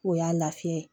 O y'a lafiya ye